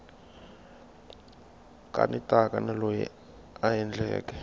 kanetaka na loyi a endleke